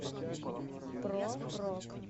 про рок